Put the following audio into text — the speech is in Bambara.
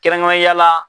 Kɛrɛnkɛrɛnnen ya la